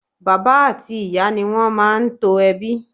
Bàbá àti Ìyá ni wón máa ń to ẹbí.